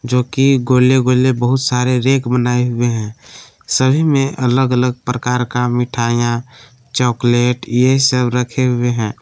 जो कि गोले गोले बहुत सारे रैक बनाए हुए हैं सभी में अलग अलग प्रकार का मिठाइयां चॉकलेट ये सब रखे हुए हैं।